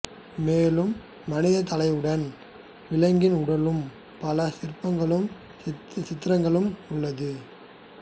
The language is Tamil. மேலும் மனிதத் தலையுடன் விலங்குகளின் உடலுடனும் பல சிற்பங்களும் சித்திரங்களும் உள்ளது